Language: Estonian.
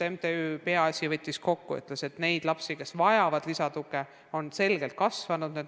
MTÜ Peaasjad võttis andmed kokku ja ütles, et nende laste arv, kes vajavad lisatuge, on selgelt kasvanud.